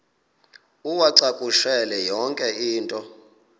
uwacakushele yonke into